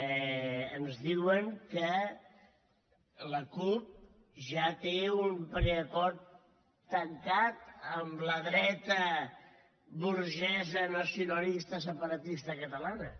que la cup ja té un preacord tancat amb la dreta burgesa nacionalista separatista catalana